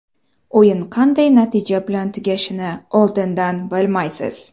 O‘yin qanday natija bilan tugashini oldindan bilmaysiz.